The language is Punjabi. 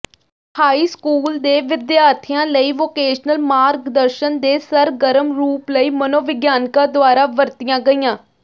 ਹਾਈ ਸਕੂਲ ਦੇ ਵਿਦਿਆਰਥੀਆਂ ਲਈ ਵੋਕੇਸ਼ਨਲ ਮਾਰਗਦਰਸ਼ਨ ਦੇ ਸਰਗਰਮ ਰੂਪ ਲਈ ਮਨੋਵਿਗਿਆਨਕਾਂ ਦੁਆਰਾ ਵਰਤੀਆਂ ਗਈਆਂ